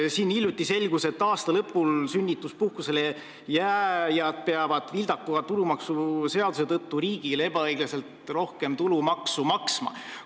Hiljuti selgus, et aasta lõpul sünnituspuhkusele jääjad peavad vildaka tulumaksuseaduse tõttu riigile ebaõiglaselt rohkem tulumaksu maksma.